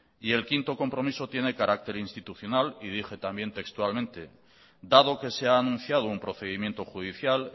y el quinto compromiso tiene carácter institucional y dije también textualmente dado que se ha anunciado un procedimiento judicial